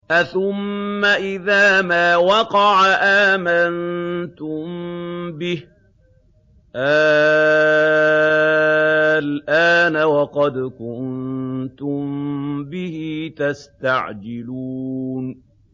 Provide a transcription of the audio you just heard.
أَثُمَّ إِذَا مَا وَقَعَ آمَنتُم بِهِ ۚ آلْآنَ وَقَدْ كُنتُم بِهِ تَسْتَعْجِلُونَ